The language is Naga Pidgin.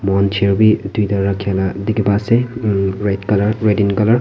moihan chair bhi duita rakhi na dikhi pai ase umm red colour Red in colour .